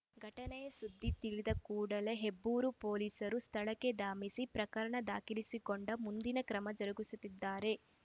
ಘಟನೆಯ ಸುದ್ದಿ ತಿಳಿದ ಕೂಡಲೇ ಹೆಬ್ಬೂರು ಪೊಲೀಸರು ಸ್ಥಳಕ್ಕೆ ಧಾಮಸಿ ಪ್ರಕರಣ ದಾಖಲಿಸಿಕೊಂಡು ಮುಂದಿನ ಕ್ರಮ ಜರುಗಿಸುತ್ತಿದ್ದಾರೆ